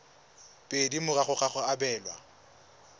pedi morago ga go abelwa